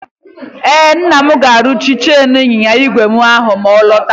Nna m ga-arụzi chen ịnyịnya ígwè ahụ ma ọ lọta.